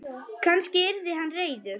Kannski yrði hann reiður?